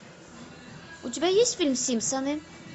у тебя есть фильм симпсоны